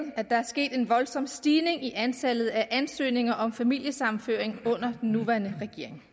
at der er sket en voldsom stigning i antallet af ansøgninger om familiesammenføring under den nuværende regering